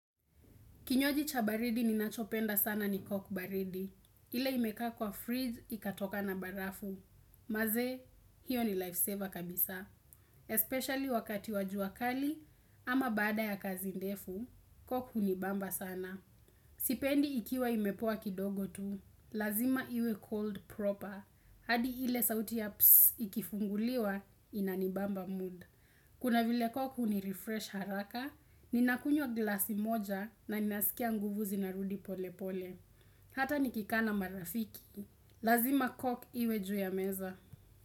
Kinywaji cha baridi ninachopenda sana ni cock baridi. Ile imekaa kwa friji ikatoka na barafu. Manzee, hiyo ni life saver kabisaa. Especially wakati wa jua kali ama baada ya kazi ndefu, cock hunibamba sana. Sipendi ikiwa imepoa kidogo tu. Lazima iwe cold proper. Hadi ile sauti ya psss! Ikifunguliwa, inanibamba mood. Kuna vile cock hunirefresh haraka. Ninakunywa glasi moja na ninasikia nguvu zinarudi pole pole Hata nikikaa na marafiki, Lazima cock iwe juu ya meza.